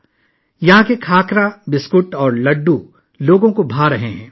لوگ یہاں کے کھاکرا، بسکٹ اور لڈو بہت پسند کر رہے ہیں